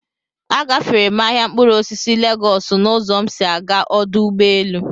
A gaféré m ahịa mkpụrụ osisi Légọọsu n'uzọ m si aga ọdụ ụgbọelu